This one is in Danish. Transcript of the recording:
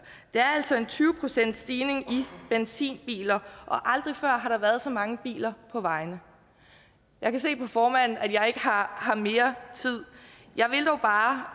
det er altså en tyve procentsstigning i benzinbiler og aldrig før har der været så mange biler på vejene jeg kan se på formanden at jeg ikke har mere tid jeg vil dog bare